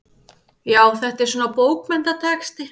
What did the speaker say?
Já, þetta er svona. bókmenntatexti.